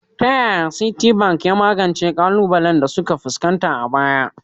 Ta yaya Citibank ya magance ƙalubalen da suka fuskanta a baya?